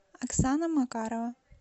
оксана макарова